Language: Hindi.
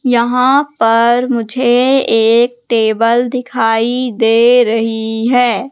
यहां पर मुझे एक टेबल दिखाई दे रही है।